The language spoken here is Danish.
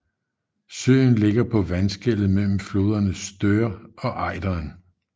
Søen ligger på vandskellet mellem floderne Stör og Ejderen